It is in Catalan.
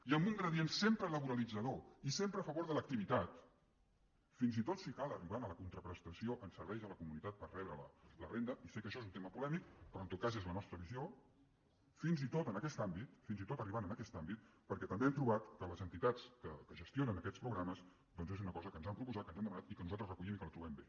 i amb un gradient sempre laboralitzador i sempre a favor de l’activitat fins i tot si cal arribant a la contraprestació en serveis a la comunitat per rebre la renda i sé que això és un tema polèmic però en tot cas és la nostra visió fins i tot en aquest àmbit fins i tot arribant a aquest àmbit perquè també hem trobat que les entitats que gestionen aquests programes doncs és una cosa que ens han proposat que ens han demanat i que nosaltres recollim i que la trobem bé